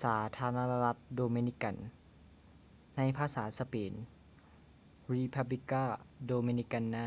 ສາທາລະນະລັດໂດມິນິກັນ ໃນພາສາສະເປນ: república dominicana